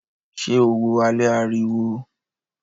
Ṣé o wo alẹ́ ariwo?